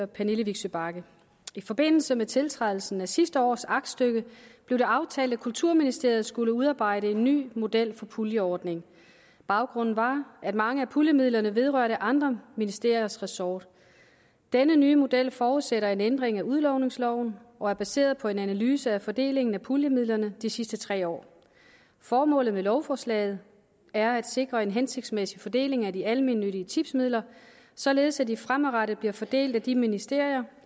pernille vigsø bagge i forbindelse med tiltrædelsen af sidste års aktstykke blev det aftalt at kulturministeriet skulle udarbejde en ny model for puljeordning baggrunden var at mange af puljemidlerne vedrørte andre ministeriers ressort denne nye model forudsætter en ændring af udlodningsloven og er baseret på en analyse af fordelingen af puljemidlerne de sidste tre år formålet med lovforslaget er at sikre en hensigtsmæssig fordeling af de almennyttige tipsmidler således at de fremadrettet bliver fordelt af de ministerier